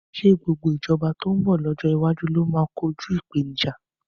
Ṣé gbogbo ìjọba tó ń bọ̀ lọ́jọ́ iwájú ló máa kojú ìpèníjà?